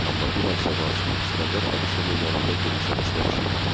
Amma bir az Cavanşirin İsgəndər Abışovun yanında gülümsəməsinə oxşayırdı.